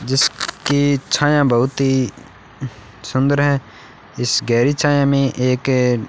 जिसकी छाया बहुत ही सुंदर है इस गहरी छाया में एक --